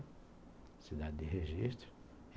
Cidade de Registro.